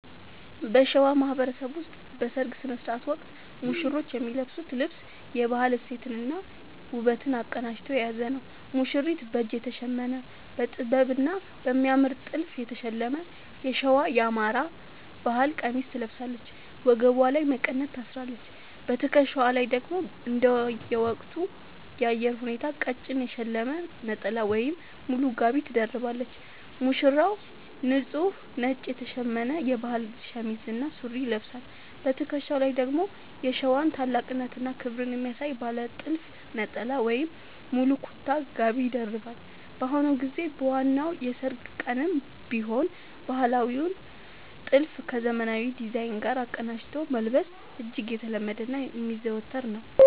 በሸዋ ማህበረሰብ ውስጥ በሠርግ ሥነ ሥርዓት ወቅት ሙሽሮች የሚለብሱት ልብስ የባህል እሴትንና ውበትን አቀናጅቶ የያዘ ነው፦ ሙሽሪት፦ በእጅ የተሸመነ: በጥበብና በሚያምር ጥልፍ የተሸለመ የሸዋ (የአማራ) ባህል ቀሚስ ትለብሳለች። ወገቧ ላይ መቀነት ታስራለች: በትከሻዋ ላይ ደግሞ እንደየወቅቱ የአየር ሁኔታ ቀጭን የተሸለመ ነጠላ ወይም ሙሉ ጋቢ ትደርባለች። ሙሽራው፦ ንጹህ ነጭ የተሸመነ የባህል ሸሚዝ እና ሱሪ ይለብሳል። በትከሻው ላይ ደግሞ የሸዋን ታላቅነትና ክብር የሚያሳይ ባለ ጥልፍ ነጠላ ወይም ሙሉ ኩታ (ጋቢ) ይደርባል። በአሁኑ ጊዜ በዋናው የሠርግ ቀንም ቢሆን ባህላዊውን ጥልፍ ከዘመናዊ ዲዛይን ጋር አቀናጅቶ መልበስ እጅግ የተለመደና የሚዘወተር ነው።